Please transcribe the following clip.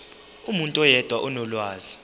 umuntu oyedwa onolwazi